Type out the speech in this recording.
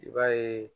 I b'a ye